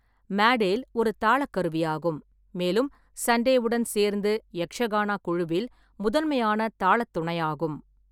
மடேல் ஒரு தாளக் கருவியாகும், மேலும் சண்டேவுடன் சேர்ந்து, யக்ஷகானா குழுவில் முதன்மையான தாளத் துணையாகும்.